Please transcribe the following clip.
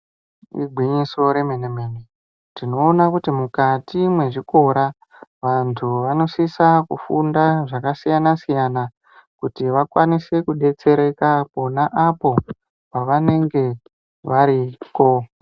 Igwinyiso remenemene , tinoona kuti mukati mwezvikora antu anosisa kufunda zvakasiyana siyana kuti vakwanise kudetsereka pona apo pavanenge variko .